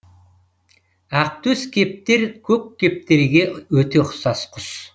ақтөс кептер көк кептерге өте ұқсас құс